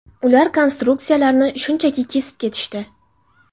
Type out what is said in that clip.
Ular konstruksiyalarni shunchaki kesib ketishdi.